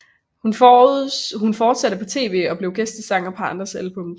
Hun fortsatte på tv og blev gæstesanger på andres albums